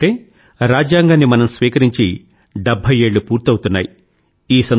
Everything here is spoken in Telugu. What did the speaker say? ఎందుకంటే ఈసారి రాజ్యాంగాన్ని మనం స్వీకరించి డెభ్భై ఏళ్ళు పూర్తవుతున్నాయి